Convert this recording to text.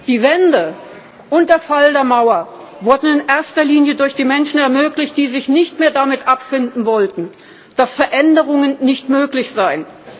Die Wende und der Fall der Mauer wurden in erster Linie durch die Menschen ermöglicht, die sich nicht mehr damit abfinden wollten, dass Veränderungen nicht möglich seien.